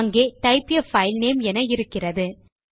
அங்கே type a file name என இருக்கிறது